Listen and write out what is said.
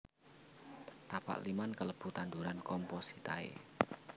Tapak liman kalebu tanduran compositae